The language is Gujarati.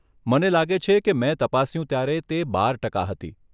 મને લાગે છે કે મેં તપાસ્યું ત્યારે તે બાર ટકા હતી.